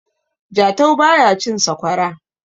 jatau ba ya cin sakwara